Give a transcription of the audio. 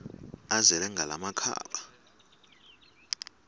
azele ngala makhaba